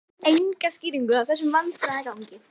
Gaf enga skýringu á þessum vandræðagangi.